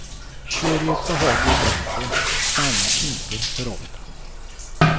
Kör i ett behagligt tempo, stanna inte för ofta.